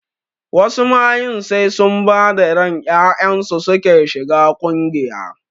Wasu mayun sai sun bada ran ƴaƴansu suke shiga ƙungiya